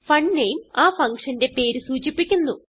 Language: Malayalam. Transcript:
fun name ആ functionന്റെ പേര് സൂചിപ്പിക്കുന്നു